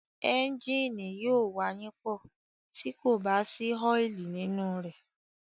Ẹ́ńgìnì yóò wayínpọ̀, tí kò bá sí ọ́ìlì nínú rẹ̀.